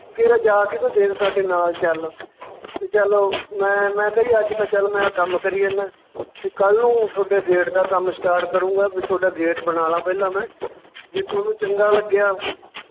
ਕੇਰਾਂ ਜਾ ਕੇ ਤਾਂ ਦੇਖ ਸਾਡੇ ਨਾਲ ਚੱਲ ਤੇ ਚੱਲ ਮੈਂ, ਮੈਂ ਕਿਹਾ ਜੀ ਅੱਜ ਤਾਂ ਚੱਲ ਮੈਂ ਕੰਮ ਕਰੀ ਜਾਨਾ, ਵੀ ਕੱਲ ਨੂੰ ਤੁਹਾਡੇ gate ਦਾ ਕੰਮ start ਕਰੂੰਗਾ ਵੀ ਤੁਹਾਡਾ gate ਬਣਾ ਲਵਾਂ ਪਹਿਲਾਂ ਮੈਂ ਜੇ ਤੁਹਾਨੂੰ ਚੰਗਾ ਲੱਗਿਆ